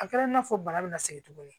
A kɛra i n'a fɔ bana bɛ na segin tuguni